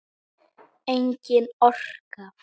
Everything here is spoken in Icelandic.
Engin orka.